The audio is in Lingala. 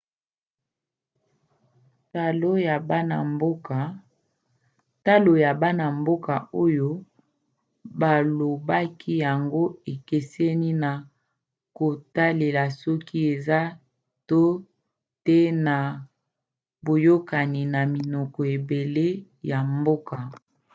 talo ya bana-mboka oyo balobaki yango ekeseni na kotalela soki eza to te na boyokani na minoko ebele ya mboka